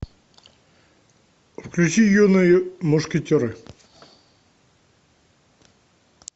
включи юные мушкетеры